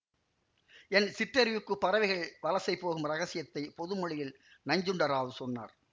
என் சிற்றறிவுக்கு பறவைகள் வலசைபோகும் ரகசியத்தை பொதுமொழியில் நஞ்சுண்ட ராவ் சொன்னார்